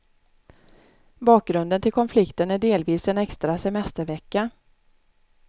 Bakgrunden till konflikten är delvis en extra semestervecka.